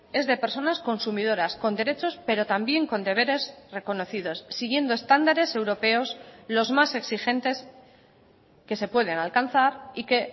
es de personas consumidoras con derechos pero también con deberes reconocidos siguiendo estándares europeos los más exigentes que se pueden alcanzar y que